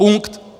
Punkt.